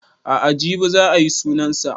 A'a jibi za a yi sunan sa